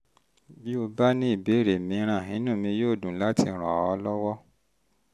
bí o um bá ní ìbéèrè mìíràn inú mi yóò dùn láti ràn ọ́ lọ́wọ́